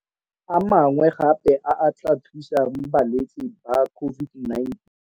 A mangwe gape a a tla thusang balwetse ba COVID-19.